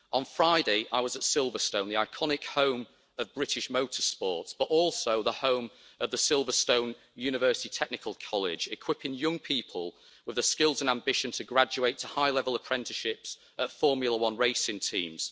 On Friday, I was at Silverstone, the iconic home of British motor sports, but also the home of the Silverstone University Technical College, equipping young people with the skills and ambition to graduate to high level apprenticeships at Formula 1 racing teams.